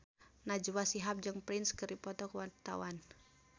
Najwa Shihab jeung Prince keur dipoto ku wartawan